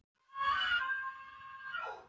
Hún er tíu árum yngri en